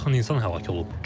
50-yə yaxın insan həlak olub.